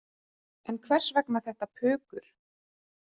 En hvers vegna þetta pukur?